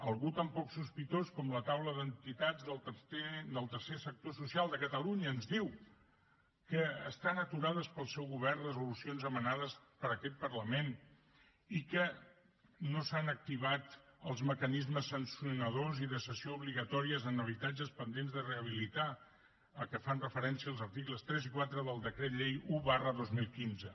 algú tan poc sospitós com la taula d’entitats del tercer sector social de catalunya ens diu que estan aturades pel seu govern resolucions emanades per aquest parlament i que no s’han activat els mecanismes sancionadors i de cessió obligatòria en habitatges pendents de rehabilitar a què fan referència els articles tres i quatre del decret llei un dos mil quinze